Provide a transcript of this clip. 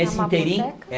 ínterim. É a mapoteca? É